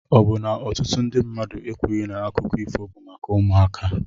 Ọ bụ na ọtụtụ ndị mmadụ ekwughị na akụkọ ifo bụ maka ụmụaka?